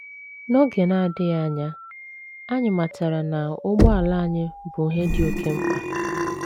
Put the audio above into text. N’oge na - adịghị anya, anyị matara na ụgbọala anyị bụ ihe dị oké mkpa.